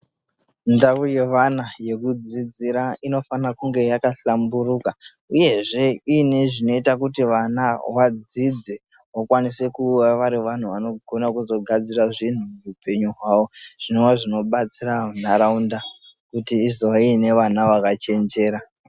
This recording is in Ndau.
Ndau yevana yekudzidzira inofana kunge yakahlamburuka uyezve inezvinoita kuti vana Valdez vakwanise kuva varivanhu vanogona kuzogadzira zvinhu muupenyu hwavo zvinova zvinobatsira ndaraunda kuti izova nevana vakachenjera.